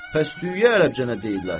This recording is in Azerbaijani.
Bəs düyüyə ərəbcə nə deyirlər?